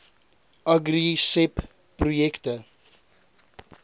agri seb projekte